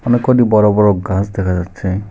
অনেক কয়টি বড় বড় গাছ দেখা যাচ্ছে।